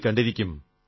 യിൽ കണ്ടിരിക്കും